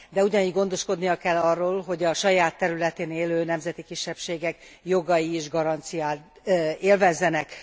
De ugyanígy gondoskodnia kell arról, hogy a saját területén élő nemzeti kisebbségek jogai is garanciát élvezzenek.